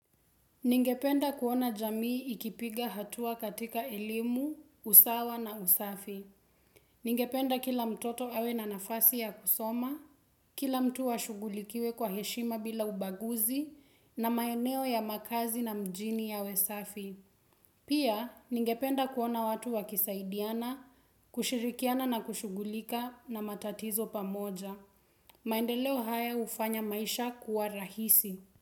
Ningependa kuona jamii ikipiga hatua katika elimu, usawa na usafi. Ningependa kila mtoto awe na nafasi ya kusoma, kila mtu ashugulikiwe kwa heshima bila ubaguzi na maeneo ya makazi na mjini yawe safi. Pia, ningependa kuona watu wakisaidiana, kushirikiana na kushugulika na matatizo pamoja. Maendeleo haya hufanya maisha kuwa rahisi.